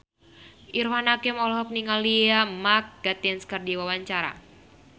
Irfan Hakim olohok ningali Mark Gatiss keur diwawancara